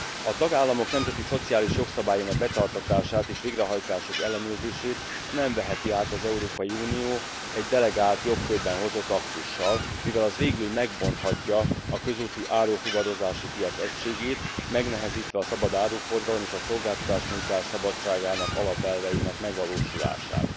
A tagállamok nemzeti szociális jogszabályainak betartatását és végrehajtásuk ellenőrzését nem veheti át az Európai Unió egy delegált jogkörben hozott aktussal, mivel az végül megbonthatja a közúti árufuvarozási piac egységét, megnehezítve a szabad áruforgalom és a szolgáltatásnyújtás szabadsága alapelveinek megvalósulását.